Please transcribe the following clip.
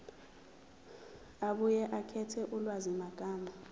abuye akhethe ulwazimagama